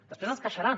després es queixaran